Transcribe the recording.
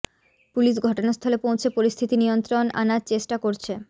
police ঘটনাস্থলে পৌঁছে পরিস্থিতি নিয়ন্ত্রণ আনার চেষ্টা করছে